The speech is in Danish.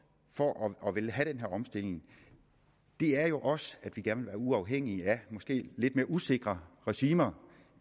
for at ville have den her omstilling er jo også at vi gerne vil være uafhængige af måske lidt mere usikre regimer